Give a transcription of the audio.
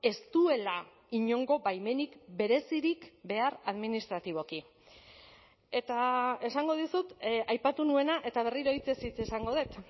ez duela inongo baimenik berezirik behar administratiboki eta esango dizut aipatu nuena eta berriro hitzez hitz esango dut